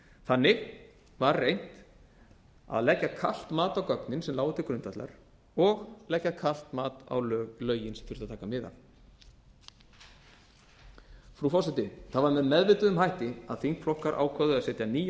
þannig var reynt að leggja kalt mat á gögnin sem lágu til grundvallar og leggja kalt mat á lögin sem þurfti að taka mið af frú forseti það var með meðvituðum hætti að þingflokkar ákváðu að setja nýja